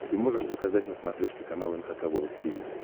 ты можешь показать на смотрешке канал эн эйч кей волд ти ви